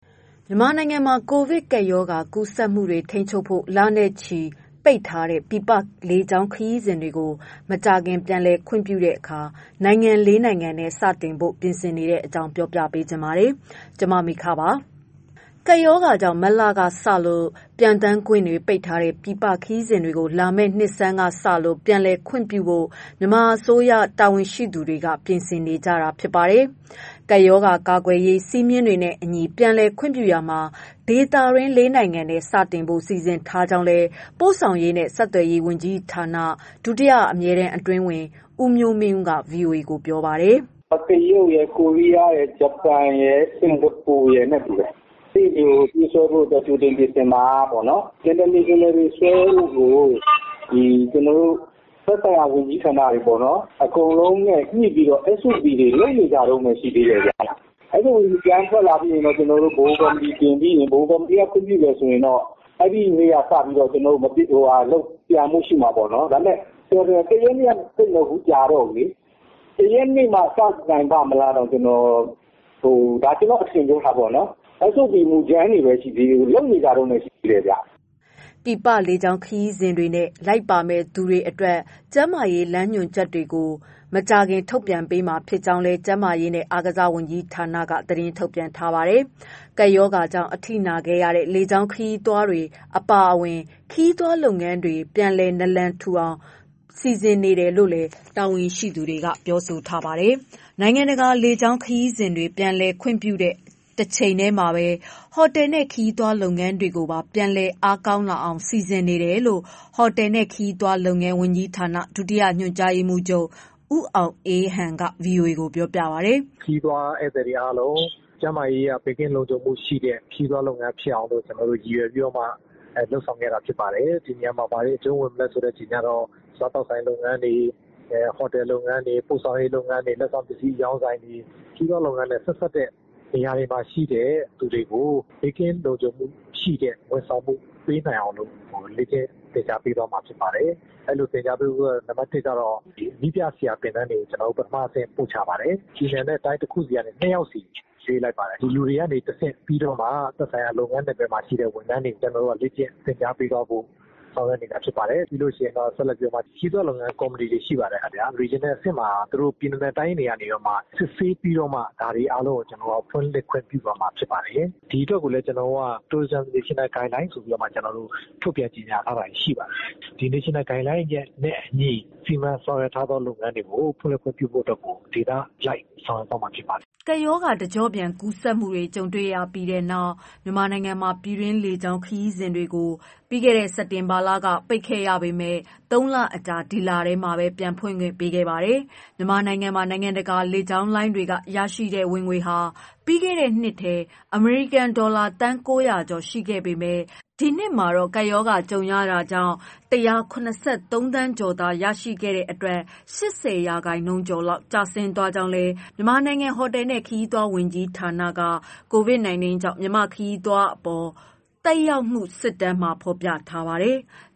မြန်မာနိုင်ငံမှာ ကိုဗစ်ကပ်ရောဂါကူးစက်မှုတွေကို ထိန်းချုပ်ဖို့ လနဲ့ချီ ပိတ်ထားတဲ့ ပြည်ပလေကြောင်းခရီးစဉ်တွေကို မကြာခင်ပြန်လည် ခွင့်ပြုတဲ့အခါ နိုင်ငံ ၄ နိုင်ငံနဲ့ စတင်ဖို့ ပြင်ဆင်နေတဲ့အကြောင်းကို ဗွီအိုအေမြန်မာပိုင်း သတင်းထောက် မမေခက ပြောပြပါမယ်။ ကပ်ရောဂါကြောင့် မတ်လကစလို့ ပျံသန်းခွင့်ပိတ်ထားတဲ့ ပြည်ပခရီးစဉ်တွေကို လာမယ့်နှစ်ဆန်းကစလို့ ပြန်လည်ခွင့်ပြုဖို့ မြန်မာအစိုးရ တာဝန်ရှိသူတွေ ပြင်ဆင်နေတာ ဖြစ်ပါတယ်။ ကပ်ရောဂါကာကွယ်ရေး စည်းမျဉ်းတွေနဲ့အညီ ပြန်လည်ခွင့်ပြုရာမှာ ဒေသတွင်း ၄ နိုင်ငံနဲ့ စတင်ဖို့ စီစဉ်ထားကြောင်းလည်း ပို့ဆောင်ရေးနဲ့ ဆက်သွယ်ရေးဝန်ကြီးဌာန ဒုတိယအမြဲတမ်းအတွင်းဝန် ဦးမျိုးမင်းဦးက ဗွီအိုအေကို ပြောပါတယ်။ "တရုတ်ရယ်၊ ဂျပန်ရယ်၊ ကိုရီးယား၊ စင်္ကာပူရယ် ပြေးဆွဲဖို့ကြိုတင်ပြင်ဆင်တာက international ဆွဲဖို့ကို သက်ဆိုင်ရာဝန်ကြီးဌာနတွေ အကုန်လုံးနဲ့ ညှိပြီးတော့ လက်ရှိက လုပ်နေကြတုန်း ရှိတယ်။ SOP မူကြမ်းထွက်လို့ ဗဟိုကော်မတီတင်လို့ တင်ပြီးရင် ဗဟိုကော်မတီက ခွင့်ပြုရင်တော့ လာမယ့် ၁ ရက်နေ့ဆွဲနိုင်မှာပေါ့။ ကျနော်တို့ကတော့ခုက ၁ ရက်နေ့က စနိုင်ပါ့မလားပေါ့... ကျနော့်အထင်ပါ။ SOP က ခုမှလုပ်နေကြတုန်းရှိသေးတယ်။" ပြည်ပလေကြောင်းခရီးစဉ်တွေနဲ့ လိုက်ပါမယ့်သူတွေအတွက် ကျန်းမာရေး လမ်းညွှန်ချက်တွေကို မကြာခင်ထုတ်ပြန်ပေးမှာဖြစ်ကြောင်းလည်း ကျန်းမာရေးနဲ့ အားကစားဝန်ကြီးဌာနက သတင်းထုတ်ပြန်ထားပါတယ်။ ကပ်ရောဂါကြောင့် အထိနာခဲ့ရတဲ့ လေကြောင်းလုပ်ငန်းတွေ အပါအဝင် ခရီးသွား လုပ်ငန်းတွေကို ပြန်လည်နာလန်ထူလာအောင် စီစဉ်နေတယ်လို့လည်း တာဝန်ရှိသူတွေက ပြောပါတယ်။ နိုင်ငံတကာ လေကြောင်းခရီးစဉ်တွေ ပြန်လည်ခွင့်ပြုတဲ့ တချိန်တည်းမှာပဲ ဟိုတယ်နဲ့ ခရီးသွားလုပ်ငန်းတွေကိုပါ ပြန်လည်အားကောင်းလာအောင် စီစဉ်နေတယ်လို့လည်း ဟိုတယ်နဲ့ ခရီးသွားလုပ်ငန်း ဝန်ကြီးဌာန၊ ဒုတိယညွှန်ကြားရေးမှူးချုပ် ဦးအောင်အေးဟန် က ဗွီအိုအေကို ပြောပါတယ်။ "ခရီးသွားဧည့်သည်တွေအားလုံး ကျန်းမာရေးအရ ဘေးကင်းလုံခြုံမှုရှိတဲ့ ခရီးသွား လုပ်ငန်းဖြစ်အောင်လို့ ကျနော်တို့ ရည်ရွယ်ပြီးတော့မှ လုပ်ဆောင်ခဲ့တာဖြစ်ပါတယ်။ ဒီနေရာမှာ ဘာတွေအကျုံးဝင်မလဲဆိုတာကတော့ စားသောက်ဆိုင်လုပ်ငန်းတွေ၊ ဟော်တယ်လုပ်ငန်းတွေ၊ ပို့ဆောင်ရေးလုပ်ငန်းတွေ၊ လက်ဆောင်ပစ္စည်းအရောင်းဆိုင်တွေ၊ ခရီးသွားလုပ်ငန်းနဲ့ ဆက်စပ်တဲ့နေရာတွေမှာရှိတဲ့ လူတွေကို ဘေးကင်းလုံခြုံမှုရှိတဲ့ ဝန်ဆောင်မှု ပေးနိုင်အောင်လို့ လေ့ကျင့်သင်ကြားပေးသွားမှာ ဖြစ်ပါတယ်။ ပြည်နယ်နဲ့တိုင်းတခုစီကနေ နှစ်ယောက်စီ ရွေးလိုက်ပါတယ်။ ဒီလူတွေကနေတဆင့် ပြီးတော့မှ သက်ဆိုင်ရာ လုပ်ငန်းနယ်ပယ်တွေမှာ ရှိတဲ့ ဝန်ထမ်းတွေကို လေ့ကျင့်သင်ကြားပေးဖို့ ဆောင်ရွက်နေတာ ဖြစ်ပါတယ်။ ဒီလို ခရီးသွားလုပ်ငန်ကော်မတီတွေ ရှိပါတယ် ခင်ဗျာ။ ပြည်နယ်နဲ့ တိုင်းတွေကနေပြီးတော့မှ စစ်ဆေးပြီးတော့မှ အားလုံးကို ဖွင့်လှစ်ခွင့် ပြုသွားမှာဖြစ်ပါတယ်။ ဒီအတွက်ကိုလည်း ကျနော်တို့က tourism national guidelines ဆိုပြီးတော့ ထုတ်ပြန်ကြေငြာထားတာတွေရှိပါတယ်။ ဒီ national guideline နဲ့ အညီ စီမံဆောင်ရွက်ထားသော လုပ်ငန်းတွေကို ဖွင့်လှစ်ခွင့်ပြုဖို့အတွက်ကို ဒေသအလိုက် ဆောင်ရွက်မှာ ဖြစ်ပါတယ်။" ကပ်ရောဂါ တကျော့ပြန် ကူးစက်မှုတွေ ကြုံရပြီးနောက် မြန်မာနိုင်ငံမှာ ပြည်တွင်းလေကြောင်း ခရီးစဉ်တွေကိုလည်း စက်တင်ဘာကစလို့ ပိတ်ခဲ့ရပေမဲ့ ၃ လအကြာ ဒီလထဲမှာပဲ ပြန်ဖွင့်ပေးခဲ့ပါတယ်။ မြန်မာနိုင်ငံမှာ နိုင်ငံတကာ လေကြောင်းလိုင်းတွေက ရရှိတဲ့ ဝင်ငွေဟာ ပြီးခဲ့တဲ့နှစ်ထဲ အမေရိကန်ဒေါ်လာ သန်း ၉၀၀ ကျော် ရှိခဲ့ပေမဲ့ ဒီနှစ်မှာတော့ ကပ်ရောဂါကြုံခဲ့ရတာကြောင့် ၁၇၃ သန်းကျော်သာ ရှိခဲ့တဲ့အတွက် ၈၀ ရာခိုင်နှုန်းကျော် ကျဆင်းသွားခဲ့ကြောင်းလည်း မြန်မာနိုင်ငံ ဟိုတယ်နဲ့ ခရီးသွားလုပ်ငန်း ဝန်ကြီးဌာနက COVID-19 ကြောင့် မြန်မာ့ခရီးသွားလုပ်ငန်းအပေါ် သက်ရောက်မှု စစ်တမ်းမှာ ဖော်ပြထားပါတယ်။